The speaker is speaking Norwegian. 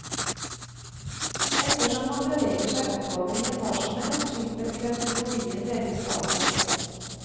Ettersom man beveger seg oppover i etasjene slipper klaustrofobien delvis taket.